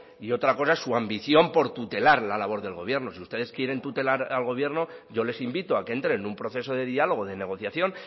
y otra cosa es su ambición por tutelar la labor del gobierno si ustedes quieren tutelar la labor del gobierno yo les invito a que entren en un proceso de diálogo de negociación